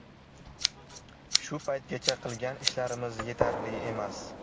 Shu paytgacha qilgan ishlarimiz yetarli emas.